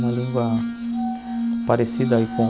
Uma língua parecida aí com...